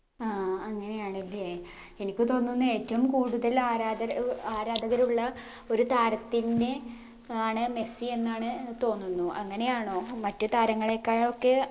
ആ അങ്ങനെയാണ് ല്ലേ എനിക്ക് തോന്നുന്നു ഏറ്റവും കൂടുതൽ ആരാധരആരാധകരുള്ള ഒരു താരത്തിന്ന് ആണ് മെസ്സി എന്നാണ് തോന്നുന്നു അങ്ങനെയാണോ മറ്റ് താരങ്ങളേക്കാളൊക്കെ